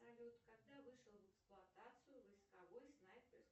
салют когда вышел в эксплуатацию войсковой снайперский